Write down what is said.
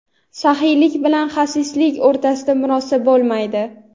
saxiylik bilan xasislik o‘rtasida murosa bo‘lmaydi.